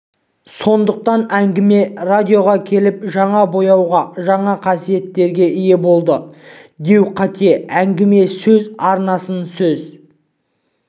сондықтан әңгіме радиоға келіп жаңа бояуға жаңа қасиеттерге ие болды деу қате әңгіме өз арнасын өз